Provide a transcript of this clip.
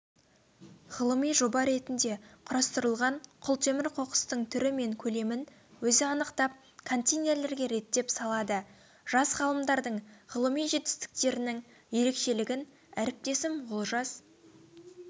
ғылыми жоба ретінде құрастырылған құлтемір қоқыстың түрі мен көлемін өзі анықтап контейнерлерге реттеп салады жас ғалымдардың ғылыми жетістіктерінің ерекшелігін әріптесім олжас